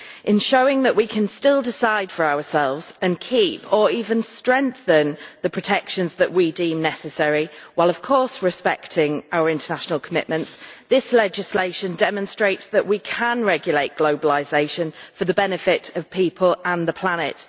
In showing that we can still decide for ourselves and keep or even strengthen the protections that we deem necessary, while of course respecting our international commitments, this legislation demonstrates that we can regulate globalisation for the benefit of people and the planet.